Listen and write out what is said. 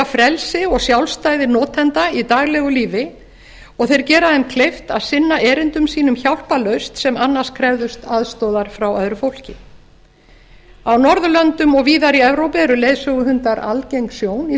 frelsi og sjálfstæði notenda í daglegu lífi og þeir gera þeim kleift að sinna erindum sínum hjálparlaust sem annars krefðust aðstoðar frá öðru fólki á norðurlöndum og víðar í evrópu eru leiðsöguhundar algeng sjón í